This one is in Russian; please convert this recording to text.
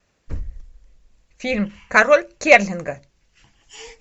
фильм король керлинга